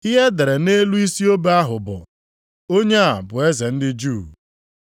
Ihe e dere nʼelu isi obe ahụ bụ: Onye a bụ Eze ndị Juu.